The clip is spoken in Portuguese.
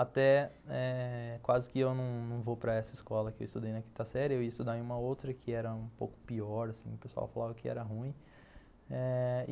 Até eh quase que eu não não vou para essa escola que eu estudei na quinta série, eu ia estudar em uma outra que era um pouco pior, o pessoal falava que era ruim.